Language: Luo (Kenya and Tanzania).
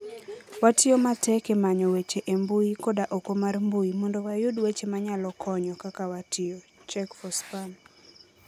Watiyo matek e manyo weche e mbui koda oko mar mbui mondo wayud weche manyalo konyo - Kaka watiyo, check4spam.